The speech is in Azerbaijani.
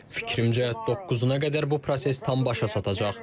Fikrimcə, doqquzuna qədər bu proses tam başa çatacaq.